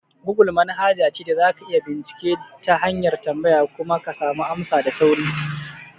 Gogul manhaja ce da za ka iya bincike ta hanyar tambaya kuma ka samu amsa da sauri.